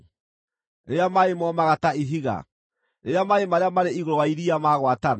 rĩrĩa maaĩ momaga ta ihiga, rĩrĩa maaĩ marĩa marĩ igũrũ wa iria magwatana?